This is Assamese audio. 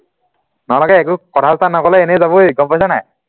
নহলে একো কথা চথা নকলে এনেই যাবই গম পাইচানে